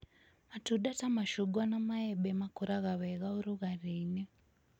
Matunda ta macungwa na maembe makũraga wega ũrugarĩ-inĩ.